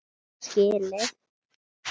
Ég á það skilið.